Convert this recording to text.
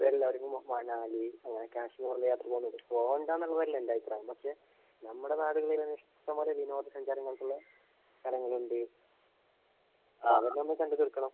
എല്ലാര്ക്കും മനാലി, കാശ്മീര്‍ അങ്ങനെയൊക്കെ പോന്നൊണ്ട്. പോകണ്ട എന്നുള്ളതല്ലഎന്‍റഭിപ്രായം. പക്ഷെ നമ്മുടെ നാടുകളില്‍ തന്നെ ഇഷ്ടം പോലെ വിനോദസഞ്ചാരങ്ങള്‍ക്കുള്ള സ്ഥലങ്ങളുണ്ട്. അതെല്ലാം നമുക്ക് കണ്ടു തീര്‍ക്കണം.